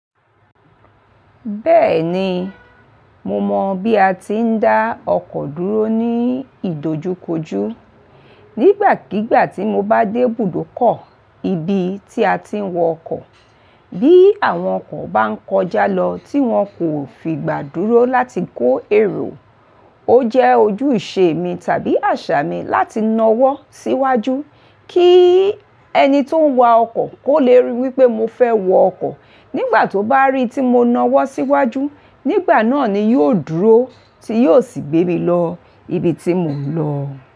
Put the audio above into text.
Bẹ́ẹ̀ni, mo mọ bí a ti ń dá ọkọ̀ dúró ní ìdojúkojú. Nígbàkígbà tí mo bá dé ibùdókọ̀, ibi tí a ti ń wọ ọkọ̀, bí àwọn ọkọ̀ bá ń kọjá lọ tí wón kò fi gbà dúró láti kó èrò, ó jẹ́ ojúṣe mi tàbí àṣà mi láti nawọ́ síwájú kí ẹni tí ó ń wa ọkọ̀ kó le rí wípé mo fẹ́ wọ ọkọ̀. Nígbà tó bá rí tí mo nawọ́ síwájú, nígbà náà ni yóò dúró, tí yóò sì gbé mi lọ ibi tí mò ń lọ.